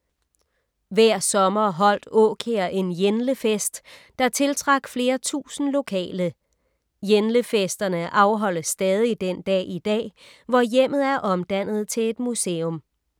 Hver sommer holdt Aakjær en Jenlefest, der tiltrak flere tusind lokale. Jenlefesterne afholdes stadig den dag i dag, hvor hjemmet er omdannet til et museum.